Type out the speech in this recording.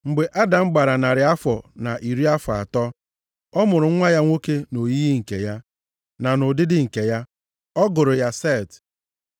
Mgbe Adam gbara narị afọ na iri afọ atọ, ọ mụrụ nwa ya nwoke nʼoyiyi nke ya, na nʼụdịdị nke ya. Ọ gụrụ ya Set.